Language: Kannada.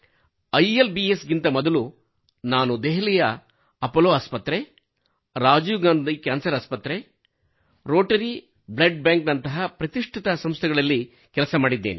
ಐಎಲ್ ಬಿ ಎಸ್ ಗಿಂತ ತ ಮೊದಲು ಕೂಡಾ ನಾನು ದೆಹಲಿಯ ಅಪೋಲೋ ಆಸ್ಪತ್ರೆ ರಾಜೀವ್ ಗಾಂಧಿ ಕ್ಯಾನ್ಸರ್ ಆಸ್ಪತ್ರೆ ರೋಟರ್ ಬ್ಲಡ್ ಬ್ಯಾಂಕ್ ನಂತಹ ಪ್ರತಿಷ್ಠಿತ ಸಂಸ್ಥೆಗಳಲ್ಲಿ ಕೆಲಸ ಮಾಡಿದ್ದೇನೆ